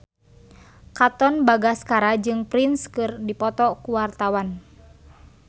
Katon Bagaskara jeung Prince keur dipoto ku wartawan